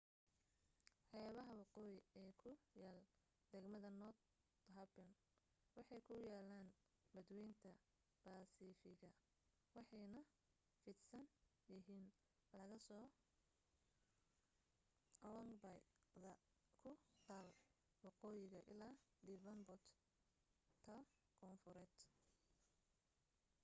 xeebaha waqooyi ee ku yaal degmada north harbour waxay ku yaaliin badwaynta baasifiga waxaanay fidsan yihiin laga soo long bay da ku taal waqooyiga ilaa devonport ta koonfureed